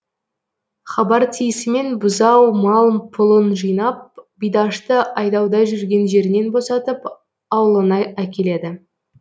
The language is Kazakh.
хабар тиісімен бұзау мал пұлын жинап бидашты айдауда жүрген жерінен босатып аулына әкеледі